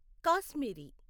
Kashmiri